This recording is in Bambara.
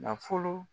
Nafolo